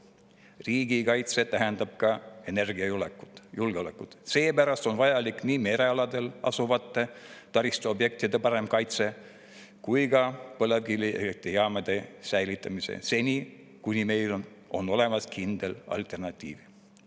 Riigikaitse tähendab ka energiajulgeolekut, seepärast on vajalik nii merealadel asuvate taristuobjektide parem kaitse kui ka põlevkivielektrijaamade säilitamine seni, kuni meil on olemas kindel alternatiiv.